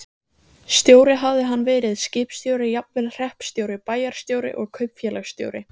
Stjóri hafði hann verið, skipstjóri, jafnvel hreppstjóri, bæjarstjóri og kaupfélagsstjóri.